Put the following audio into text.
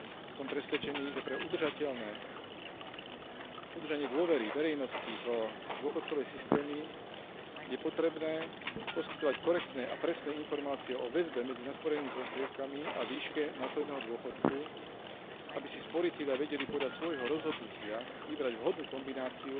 Som presvedčený, že pre udržanie dôvery verejnosti v dôchodkové systémy je potrebné poskytovať korektné a presné informácie o väzbe medzi nasporenými prostriedkami a výške následného dôchodku, aby si sporitelia vedeli podľa svojho rozhodnutia vybrať vhodnú kombináciu